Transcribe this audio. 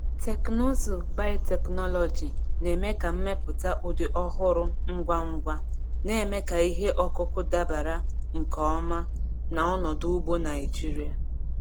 Teknụzụ biotechnology na-eme ka mmepụta ụdị ọhụrụ ngwa ngwa, na-eme ka ihe ọkụkụ dabara nke ọma na ọnọdụ ugbo Naijiria.